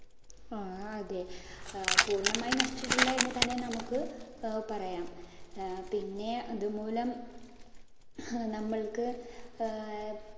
ആ, അതെ. പൂർണ്ണമായും നശിച്ചിട്ടില്ല എന്ന് തന്നെ നമുക്ക് പറയാം. ആഹ് പിന്നെ ഇതുമൂലം നമ്മള്‍ക്ക് ഏർ